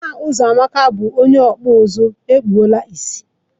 Nna Uzoamaka bu onye oji, ekpula ìsì